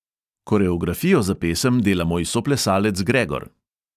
Koreografijo za pesem dela moj soplesalec gregor!